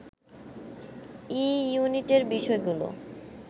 ই ইউনিটের বিষয়গুলো